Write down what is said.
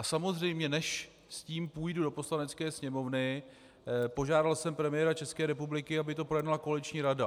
A samozřejmě než s tím půjdu do Poslanecké sněmovny, požádal jsem premiéra České republiky, aby to projednala koaliční rada.